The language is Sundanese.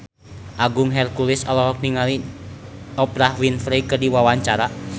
Agung Hercules olohok ningali Oprah Winfrey keur diwawancara